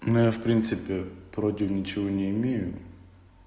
ну я в принципе против ничего не имею